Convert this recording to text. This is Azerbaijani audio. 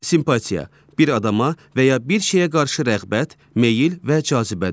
Simpatiya bir adama və ya bir şeyə qarşı rəğbət, meyil və cazibədir.